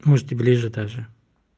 может и ближе даже